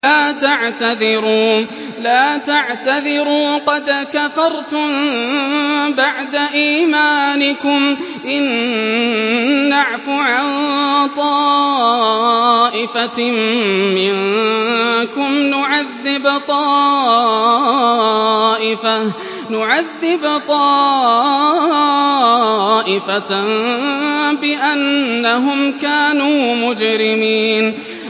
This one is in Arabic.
لَا تَعْتَذِرُوا قَدْ كَفَرْتُم بَعْدَ إِيمَانِكُمْ ۚ إِن نَّعْفُ عَن طَائِفَةٍ مِّنكُمْ نُعَذِّبْ طَائِفَةً بِأَنَّهُمْ كَانُوا مُجْرِمِينَ